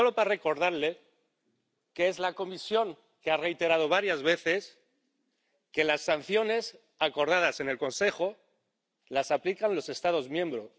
Y solo quiero recordarles que es la Comisión la que ha reiterado varias veces que las sanciones acordadas en el Consejo las aplican los Estados miembros.